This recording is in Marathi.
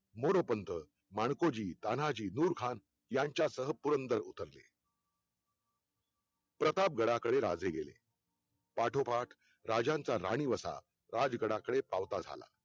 मोरपंथ, मालकोजी, तानाजी, दूरखान यांच्यासह पुरंदर उतरले प्रतापगडाकडे राजे गेले पाठोपाठ राजांचा राणी वसा राजगडाकडे पावता झाला